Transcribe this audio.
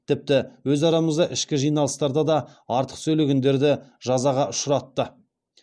тіпті өз арамызда ішкі жиналыстарда да артық сөйлегендерді жазаға ұшыратты